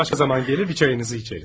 Başqa zaman gələr, bir çayınızı içərik.